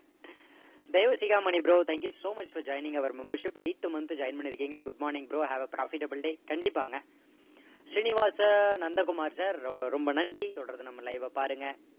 Deivasigamani bro thank you so much for joining our membership eighth month உ join பண்ணிருக்கீங்க good morning bro have a profitable day கண்டிப்பாங்க. Srinivasa Nandakumar sir ரொம்ப நன்றி தொடர்ந்து நம்ம live வ பாருங்க